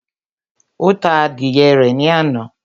Ó ta adìyẹ rẹ̀ ní àná